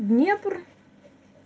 днепр